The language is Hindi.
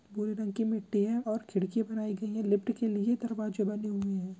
भूरे रंग की मिट्टी है और खिड़की बनाई गयी है लिफ्ट के लिए दरवाजे बने हुए है।